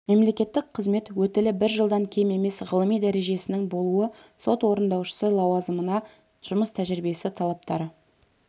мемлекеттік қызмет өтілі бір жылдан кем емес ғылыми дәрежесінің болуы сот орындаушысы лауазымына жұмыс тәжірибесі талаптары